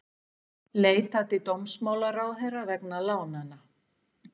Leita til dómsmálaráðherra vegna lánanna